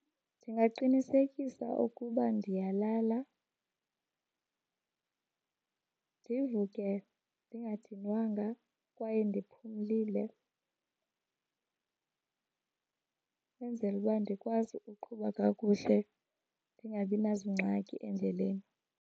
Ndingaqinisekisa ukuba ndiyalala ndivuke ndingadinwanga kwaye ndiphumlile. Kwenzele uba ndikwazi uqhuba kakuhle ndingabi nazingxaki endleleni.